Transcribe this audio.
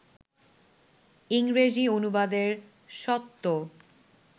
ইংরেজি অনুবাদের স্বত্ব